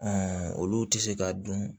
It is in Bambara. olu tɛ se ka dun